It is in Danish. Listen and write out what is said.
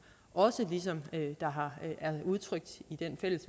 og som der er udtrykt i det fælles